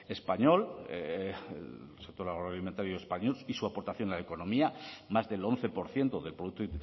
español el sector agroalimentario español y su aportación a la economía más del once por ciento del producto